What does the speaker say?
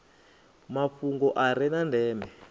mafhungo a re na ndeme